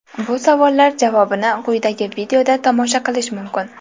Bu savollar javobini quyidagi videoda tomosha qilish mumkin.